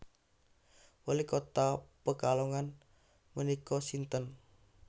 Wali kota Pekalongan menika sinten